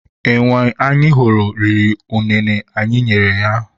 Enwe anyị hụrụ riri unene anyị nyere ya.